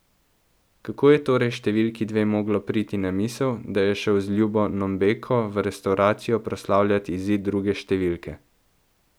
Kako je torej številki dve moglo priti na misel, da je šel z ljubo Nombeko v restavracijo proslavljat izid druge številke?